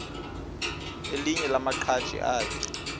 elinye lamaqhaji akhe